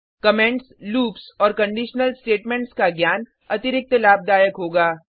comments loops और conditional statements का ज्ञान अतिरिक्त लाभदायक होगा